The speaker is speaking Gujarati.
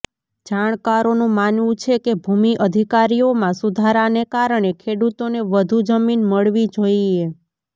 જાણકારોનું માનવું છે કે ભૂમિ અધિકારોમાં સુધારાને કારણે ખેડૂતોને વધુ જમીન મળવી જોઈએ